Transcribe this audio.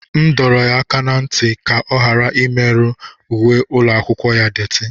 M dọrọ ya aka ná ntị ka ọ ghara imerụ uwe ụlọ akwụkwọ ya doti.